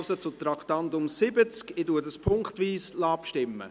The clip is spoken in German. Ich lasse punktweise abstimmen.